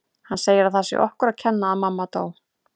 Hann segir að það sé okkur að kenna að mamma dó